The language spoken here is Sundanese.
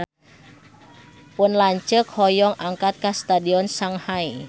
Pun lanceuk hoyong angkat ka Stadion Shanghai